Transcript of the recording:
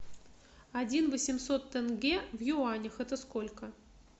один восемьсот тенге в юанях это сколько